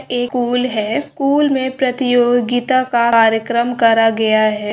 ए school है। School मै परत्योगिता का कार्यक्रम कारा गया है।